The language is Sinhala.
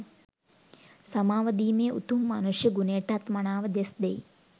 සමාව දීමේ උතුම් මනුෂ්‍ය ගුණයටත් මනාව දෙස් දෙයි.